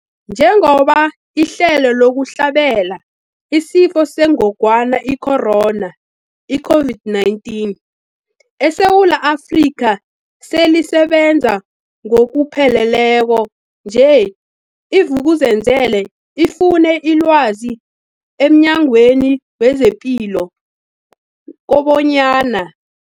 Njengoba ihlelo lokuhlabela isiFo sengogwana i-Corona, i-COVID-19, eSewula Afrika selisebenza ngokupheleleko nje, i-Vuk'uzenzele ifune ilwazi emNyangweni wezePilo kobanyana.